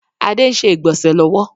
Adé ń ṣe ìgbọ̀nsẹ̀ lọ́wọ́